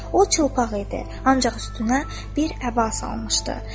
O çılpaq idi, ancaq üstünə bir əba salmışdı.